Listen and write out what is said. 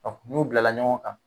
n'u bilala ɲɔgɔn kan